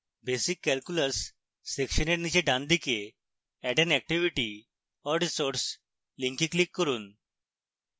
basic calculus section এর নীচে ডানদিকে add an activity or resource link click করুন